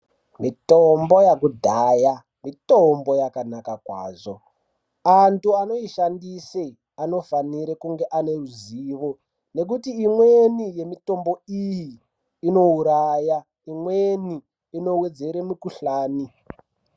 Mitombo yekudhaya mitombo yakanaka kwazvo andu anoishandisa anofanira kunge ane ruzivo ngekuti imweni yemitombo iyi inouraya imweni inowedzere mukuhlani.